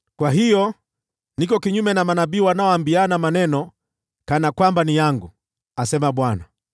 “Kwa hiyo, niko kinyume na manabii wanaoibiana maneno kana kwamba ni yangu,” asema Bwana .